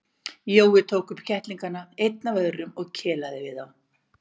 Jói tók upp kettlingana einn af öðrum og kelaði við þá.